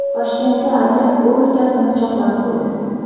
Toshkentda aka o‘z ukasini pichoqlab qo‘ydi.